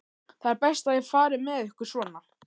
Það er best að ég fari með ykkur svona.